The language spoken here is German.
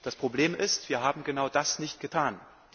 Das Problem ist, wir haben genau das nicht getan.